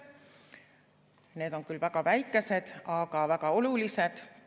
Need on küll väga väikesed, aga väga olulised.